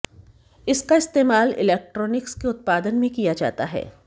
इसका इस्तेमाल इलेक्ट्रॉनिक्स के उत्पादन में किया जाता है